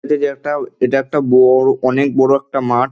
এটা যে একটা এটা একটা বড়ো অনেক বড় একটা মাঠ।